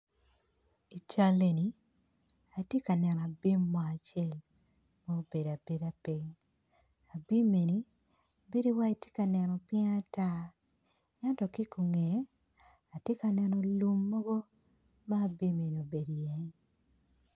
I cal eni atye ka neno bim mo acel ma obedo piny bedo wayi tye ka neno piny ata ento ki i ngeye bim mukene gubedo iye